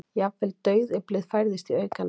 Jafnvel dauðyflið færðist í aukana.